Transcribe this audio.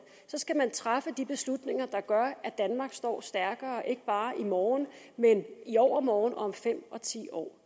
skal man træffe de beslutninger der gør at danmark står stærkere ikke bare i morgen men i overmorgen og om fem og ti år